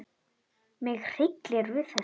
Mig hryllir við þessu.